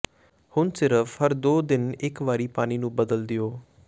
ਹੁਣ ਸਿਰਫ ਹਰ ਦੋ ਦਿਨ ਇੱਕ ਵਾਰੀ ਪਾਣੀ ਨੂੰ ਬਦਲ ਦਿਓ